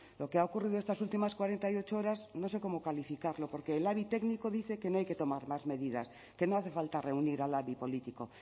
lo que ha ocurrido estas últimas cuarenta y ocho horas no sé cómo calificarlo porque el labi técnico dice que no hay que tomar más medidas que no hace falta reunir al labi político